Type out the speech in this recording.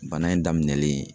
Bana in daminɛlen